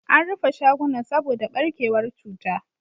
An rufe shagunan saboda barkewar cutar.